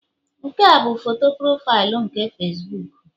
Nke a bụ foto profaịlụ nke Facibuku